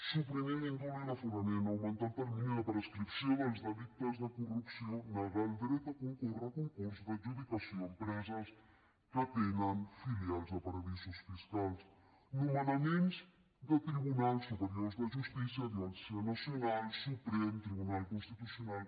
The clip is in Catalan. suprimir l’indult i l’aforament augmentar el termini de prescripció dels delictes de corrupció negar el dret a concórrer a concurs d’adjudicació a empreses que tenen filials a paradisos fiscals nomenaments de tribunals superiors de justícia audiència nacional suprem tribunal constitucional